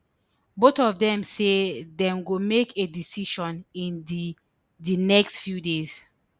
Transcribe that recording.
both of dem say dem go make a decision in di di next few days